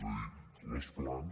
és a dir els plans